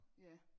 Ja